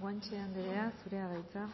guanche anderea zurea da hitza